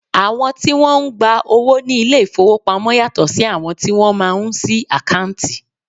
Àwọn tí Wọ́n ń gba owó ní ilé ìfowópamọ́ yàtọ̀ sí àwọn tí wọ́n máa ń sí àkáǹtì.